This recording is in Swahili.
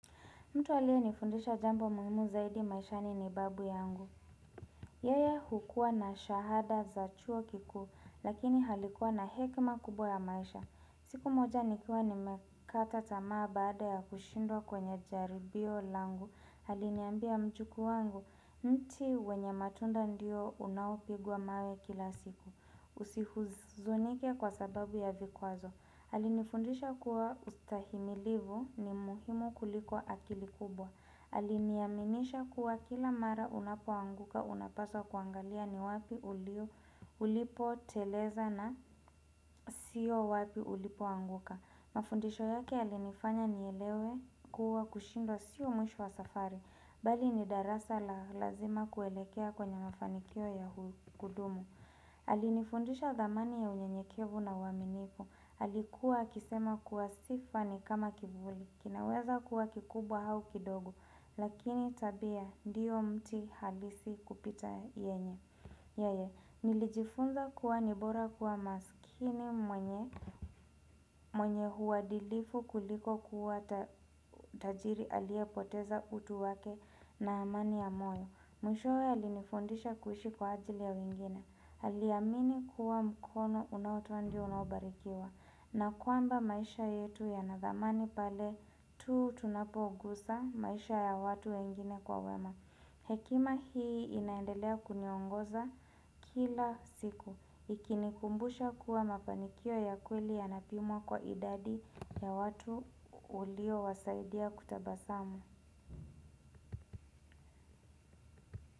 Mtu aliyenifundisha jambo muhimu zaidi maishani ni babu yangu. Yeye hukua na shahada za chuo kikuu, lakini alikuwa na hekima kubwa ya maisha. Siku moja nikiwa nimekata tamaa baada ya kushindwa kwenye jaribio langu. Aliniambia mjukuu wangu, mti wenye matunda ndiyo unaopigwa mawe kila siku. Usihuzunike kwa sababu ya vikwazo. Alinifundisha kuwa ustahimilifu ni muhimu kuliko akili kubwa. Aliniaminisha kuwa kila mara unapoanguka unapaswa kuangalia ni wapi ulipoteleza na siyo wapi ulipoanguka. Mafundisho yake yalinifanya nielewe kuwa kushindwa siyo mwisho wa safari. Bali ni darasa la lazima kuelekea kwenye mafanikio ya kudumu. Alinifundisha dhamani ya unyenyekevu na uaminifu. Alikuwa akisema kuwa sifa ni kama kivuli, kinaweza kuwa kikubwa au kidogo, lakini tabia ndiyo mti halisi kupita yenye. Yeye, nilijifunza kuwa ni bora kuwa maskini mwenye uadilifu kuliko kuwa tajiri aliyepoteza utu wake na amani ya moyo. Mwishowe alinifundisha kuishi kwa ajili ya wengine. Aliamini kuwa mkono unaotoa ndio unaobarikiwa. Na kwamba maisha yetu yana dhamani pale tu tunapogusa maisha ya watu wengine kwa wema. Hekima hii inaendelea kuniongoza kila siku. Ikinikumbusha kuwa mafanikio ya kweli yanapimwa kwa idadi ya watu uliowasaidia kutabasamu.